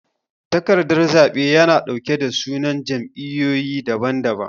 takardan zabe yana dauke da sunan jam'iyoyi dabam dabam.